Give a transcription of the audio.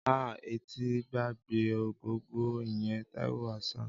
Áà!!! Ẹ ti gbàgbé Ògògó, ìyẹn Taiwo Hassan.